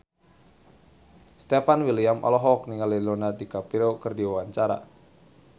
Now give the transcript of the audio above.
Stefan William olohok ningali Leonardo DiCaprio keur diwawancara